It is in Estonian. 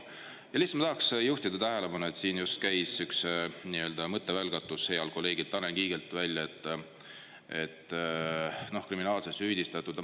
Ja lihtsalt ma tahaks juhtida tähelepanu, et siin just käis üks nii-öelda mõttevälgatus healt kolleegilt Tanel Kiigelt välja, et kriminaalselt süüdistatud.